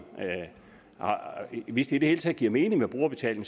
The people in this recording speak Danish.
hvis det i det hele taget giver mening med brugerbetaling